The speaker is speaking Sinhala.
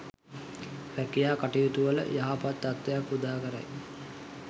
රැකියා කටයුතුවල යහපත් තත්ත්වයක් උදාකරයි.